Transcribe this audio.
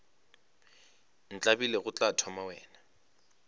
ntlabile go tla thoma wena